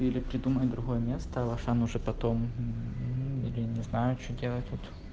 или придумай другое место в ашан уже потом или не знаю что делать вот